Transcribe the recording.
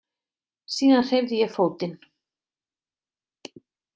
Síðan hreyfði ég fótinn.